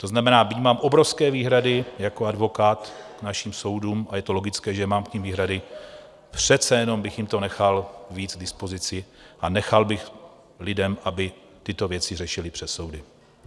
To znamená, byť mám obrovské výhrady jako advokát k našim soudům, a je to logické, že mám k nim výhrady, přece jenom bych jim to nechal víc k dispozici a nechal bych lidi, aby tyto věci řešili přes soudy.